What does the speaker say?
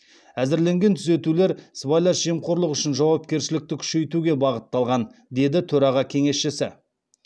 әзірленген түзетулер сыбайлас жемқорлық үшін жауапкершілікті күшейтуге бағытталған деді төраға кеңесшісі